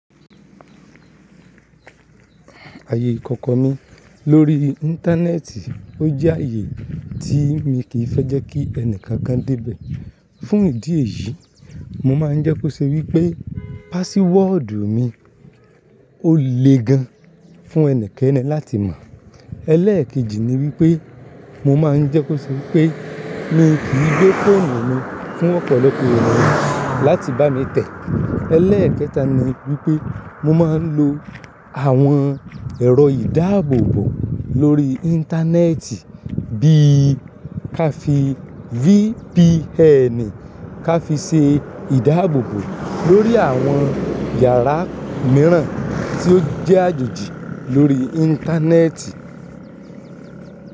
Ayé ìkọ̀kọ̀ mi lórí íntánẹ́tì ó jẹ́ ayé tí mi kí fẹ́ jẹ́ kí ẹnìkan kan dé bẹ̀. Fún ìdí èyí, mo mà ń jẹ́ kí ó ṣe wípé pásíwọ̀dù mi ó le gan fún ẹni kẹni láti mọ̀. Ẹlẹ́kejì ni wípé mo mà ń jẹ́ kí ó ṣe wípé mi kí gbé fóònù mi fún ọ̀pọ̀lọpọ̀ ènìyàn láti bá mi tẹ̀. Ẹlẹ́kẹta ni wípé mo mà ń lo àwọn ẹ̀rọ ìdáàbòbò lórí íntánẹ́tì bí ká fi VPN ká fi ṣe ìdáàbòbò lórí àwọn yàrá mìíràn tí ó jẹ́ àjòjì lórí íntánẹ́tì.